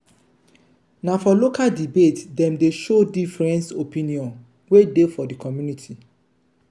na for local debate dem dey show different opinion wey dey for di community.